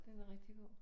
Den er rigtig god